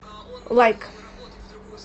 лайк